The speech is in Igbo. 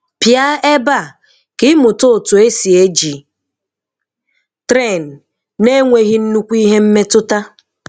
pịa ebe a ka ị mụta otu e si e ji Tren na-enweghi nnukwu ihe mmetụta.